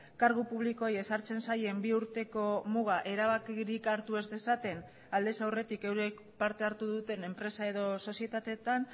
kargu publikoei ezartzen zaien bi urteko muga erabakirik hartu ez dezaten aldez aurretik eurek parte hartu duten enpresa edo sozietateetan